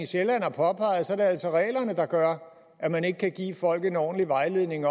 sjælland har påpeget er det altså reglerne der gør at man ikke kan give folk en ordentlig vejledning